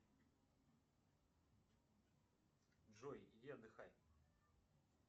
джой иди отдыхай